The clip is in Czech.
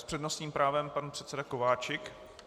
S přednostním právem pan předseda Kováčik.